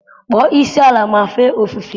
kpọrọ isiala ma fee ofufe